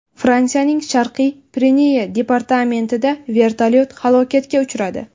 Fransiyaning Sharqiy Pireneya departamentida vertolyot halokatga uchradi.